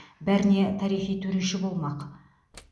бәріне тарихи төреші болмақ